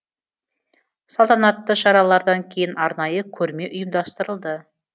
салтанатты шаралардан кейін арнайы көрме ұйымдастырылды